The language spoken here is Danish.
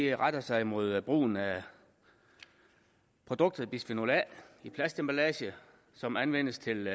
retter sig mod brugen af produktet bisfenol a i plastemballage som anvendes til